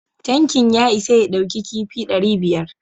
Tankin ya isa ya ɗauki kifi dari biyar